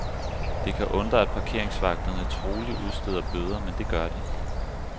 Det kan undre, at parkeringsvagterne troligt udsteder bøder, men det gør de.